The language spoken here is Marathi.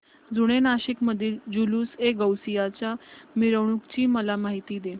जुने नाशिक मधील जुलूसएगौसिया च्या मिरवणूकीची मला माहिती दे